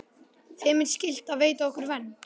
Þeim er skylt að veita okkur vernd.